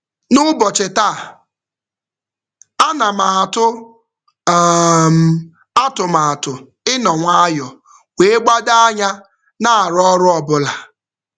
N'ụbọchị taa, ana m atụ um atụmatụ ịnọ nwayọ wee gbado anya na-arụ ọrụ ọbụla.